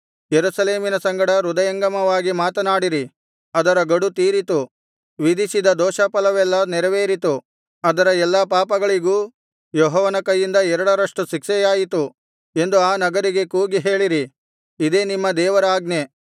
ಯೆರೂಸಲೇಮಿನ ಸಂಗಡ ಹೃದಯಂಗಮವಾಗಿ ಮಾತನಾಡಿರಿ ಅದರ ಗಡು ತೀರಿತು ವಿಧಿಸಿದ ದೋಷಫಲವೆಲ್ಲಾ ನೆರವೇರಿತು ಅದರ ಎಲ್ಲಾ ಪಾಪಗಳಿಗೂ ಯೆಹೋವನ ಕೈಯಿಂದ ಎರಡರಷ್ಟು ಶಿಕ್ಷೆಯಾಯಿತು ಎಂದು ಆ ನಗರಿಗೆ ಕೂಗಿ ಹೇಳಿರಿ ಇದೇ ನಿಮ್ಮ ದೇವರ ಆಜ್ಞೆ